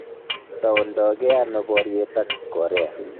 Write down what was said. Toundagei ano boryet ak Korea